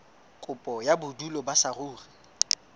kopo ya bodulo ba saruri